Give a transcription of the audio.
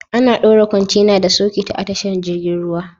Ana dora kwantena da sauketa a tashar jirgin ruwa.